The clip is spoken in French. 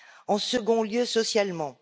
En second lieu, socialement.